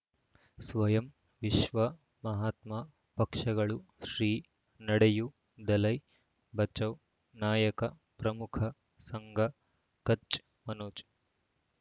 ಸ್ವಯಂ ವಿಶ್ವ ಮಹಾತ್ಮ ಪಕ್ಷಗಳು ಶ್ರೀ ನಡೆಯೂ ದಲೈ ಬಚೌ ನಾಯಕ ಪ್ರಮುಖ ಸಂಘ ಕಚ್ ಮನೋಜ್